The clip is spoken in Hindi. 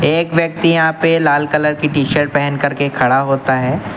एक व्यक्ति यहां पे लाल कलर की टी शर्ट पहन कर के खड़ा होता है।